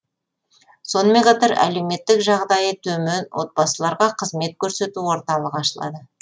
сонымен қатар әлеуметтік жағдайы төмен отбасыларға қызмет көрсету орталығы ашылады